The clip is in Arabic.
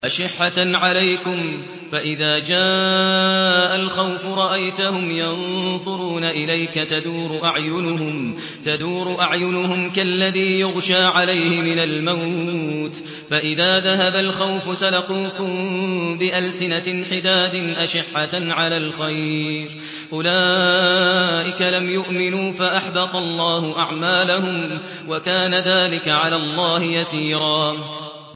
أَشِحَّةً عَلَيْكُمْ ۖ فَإِذَا جَاءَ الْخَوْفُ رَأَيْتَهُمْ يَنظُرُونَ إِلَيْكَ تَدُورُ أَعْيُنُهُمْ كَالَّذِي يُغْشَىٰ عَلَيْهِ مِنَ الْمَوْتِ ۖ فَإِذَا ذَهَبَ الْخَوْفُ سَلَقُوكُم بِأَلْسِنَةٍ حِدَادٍ أَشِحَّةً عَلَى الْخَيْرِ ۚ أُولَٰئِكَ لَمْ يُؤْمِنُوا فَأَحْبَطَ اللَّهُ أَعْمَالَهُمْ ۚ وَكَانَ ذَٰلِكَ عَلَى اللَّهِ يَسِيرًا